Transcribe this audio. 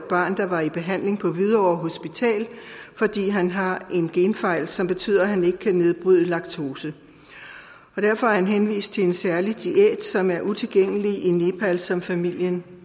barn der var i behandling på hvidovre hospital fordi han har en genfejl som betyder at han ikke kan nedbryde laktose derfor er han henvist til en særlig diæt som er utilgængelig i nepal som familien